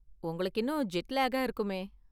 உங்களுக்கு இன்னும் ஜெட்லேக்கா இருக்குமே.